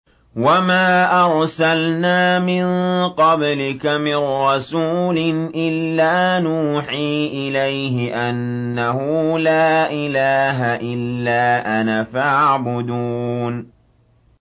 وَمَا أَرْسَلْنَا مِن قَبْلِكَ مِن رَّسُولٍ إِلَّا نُوحِي إِلَيْهِ أَنَّهُ لَا إِلَٰهَ إِلَّا أَنَا فَاعْبُدُونِ